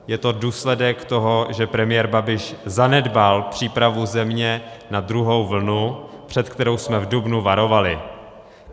Je to důsledek toho, že premiér Babiš zanedbal přípravu země na druhou vlnu, před kterou jsme v dubnu varovali.